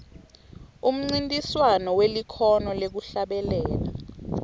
umncintiswano welikhono lekuhlabelela